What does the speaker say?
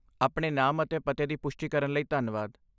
ਆਪਣੇ ਨਾਮ ਅਤੇ ਪਤੇ ਦੀ ਪੁਸ਼ਟੀ ਕਰਨ ਲਈ ਧੰਨਵਾਦ।